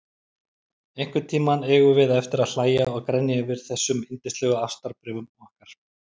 Einhvern tíma eigum við eftir að hlæja og grenja yfir þessum yndislegu ástarbréfum okkar.